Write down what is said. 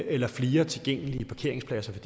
eller flere tilgængelige parkeringspladser